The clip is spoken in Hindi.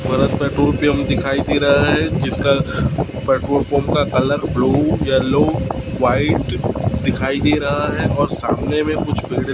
भरत पेट्रोल पंप दिखाई दे रहा है जिसका पेट्रोल पंप का कलर ब्लू येलो व्हाईट दिखाई दे रहा है और सामने में कुछ बिल्डिंग --